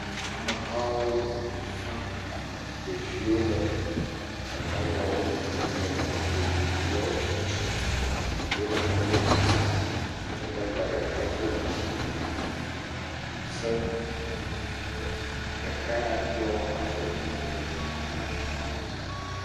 Amehawo avi fam, ɖeviwo le eme gbadagbawo le ɖetugbiviawo tutum doɖa kple ŋusẽ. Gbadagba ɖeka ɖɔ gakuku se, ɖeka ya ɖɔ avɔ kuku ɖe ta.